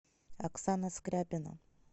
оксана скряпина